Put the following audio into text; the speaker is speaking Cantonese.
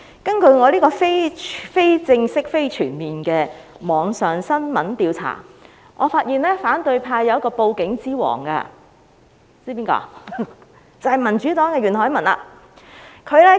根據我就網上新聞進行的非正式、非全面調查，我發現反對派有一位"報警之王"，知道他是誰嗎？